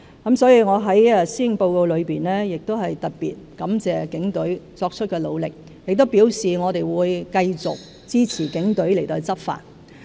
因此，我在施政報告亦特別感謝警隊作出的努力，並表示我們會繼續支持警隊執法。